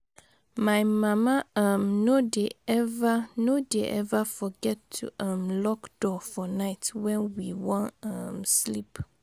My mama um no dey eva no dey eva forget to um lock door for night wen we wan um sleep.